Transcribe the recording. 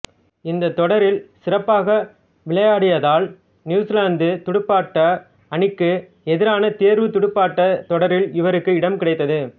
இந்தத் தொடரில் சிறப்பாக விளையாடியதால் நியூசிலாந்துத் துடுப்பாட்ட அனிக்கு எதிரான தேர்வுத் துடுப்பாட்டத் தொடரில் இவருக்கு இடம் கிடைத்தது